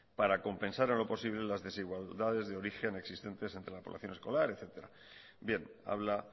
para compensar en lo posible las desigualdades de origen existente antes la población escolar etcétera bien habla